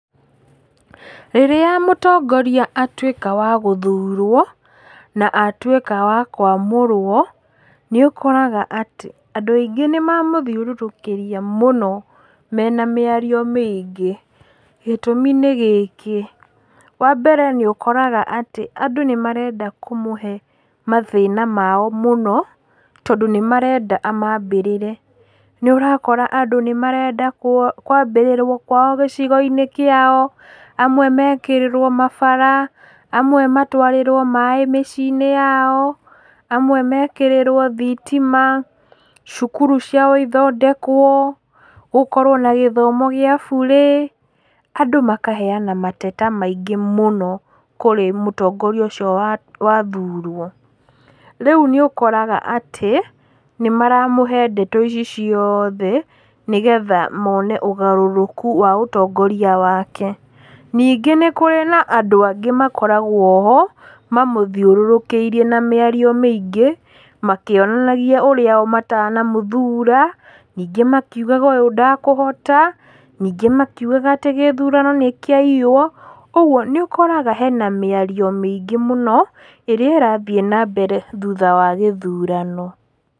Rĩrĩa mũtongoria atuĩka wa gũthurwo, na atuĩka wa kwamũrwo, nĩ ũkoraga atĩ, andũ aingĩ nĩmamũthiũrũrũkĩria mũno, mena mĩario mĩingĩ. Gĩtũmi nĩ gĩkĩĩ, wambere nĩ ũkoraga atĩ, andũ nĩmarenda kũmũhe mathĩna mao mũno, tondũ nĩmarenda amambĩrĩre. Nĩ ũkora andũ nĩmarenda kwambĩrĩrwo kwao gĩcigo kĩao, amwe mekĩrĩrwo mabara, amwe matwarĩrwo maaĩ mĩciĩ-inĩ yao, amwe mekĩrĩrwo thitima, cukuru ciao ithondekwo, gũkorwo na gĩthomo gĩa burĩ. Andũ makaheyana mateta maingĩ mũno kũrĩ mũtongoria ũcio wa wathũrwo. Rĩu nĩ ũkoraga atĩ, nĩmaramũhe ndeto ici ciothe nĩgetha mone ũgarũrũku wa ũtongoria wake. Ningĩ nĩkũrĩ na andũ angĩ makoragwo-ho, mamũthiũrũrũkĩirie na mĩario mĩingĩ, makĩonanagia o ũrĩa matanamũthura, makiugaga ũyũ ndekũhota, ningĩ angĩ makiugaga gĩthurano nĩ kĩaiiywo, ũguo nĩ ũkoraga harĩ na mĩario mĩingĩ mũno, ĩrĩa ĩrathiĩ nambere thutha wa gĩthurano.